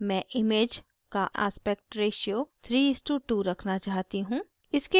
मैं image का aspect ratio 3:2 रखना चाहती हूँ